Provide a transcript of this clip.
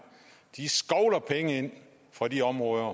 de skovler penge ind fra de områder